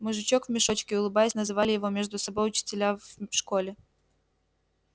мужичок в мешочке улыбаясь называли его между собой учителя в школе